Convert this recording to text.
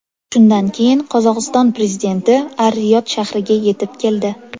Shundan keyin Qozog‘iston prezidenti Ar-Riyod shahriga yetib keldi.